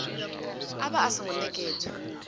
a vha a songo nekedzwa